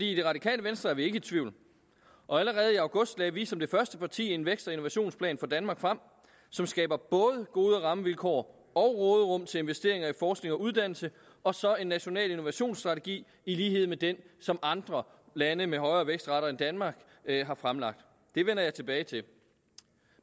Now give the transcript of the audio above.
i det radikale venstre er vi ikke i tvivl og allerede i august lagde vi som det første parti en vækst og innovationsplan for danmark frem som skaber både gode rammevilkår og råderum til investeringer i forskning og uddannelse og så en national innovationsstrategi i lighed med den som andre lande med højere vækstrater end danmark har fremlagt det vender jeg tilbage til